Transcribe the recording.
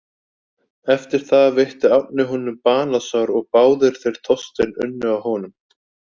Eftir það veitti Árni honum banasár og báðir þeir Þorsteinn unnu á honum.